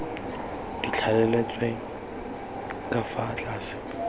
di thaletsweng ka fa tlase